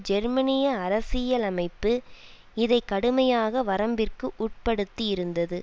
ஜெர்மனிய அரசியலமைப்பு இதை கடுமையாக வரம்பிற்கு உட்படுத்தியிருந்தது